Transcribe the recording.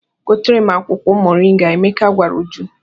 "Gotere m akwụkwọ moringa," Emeka gwara Uju.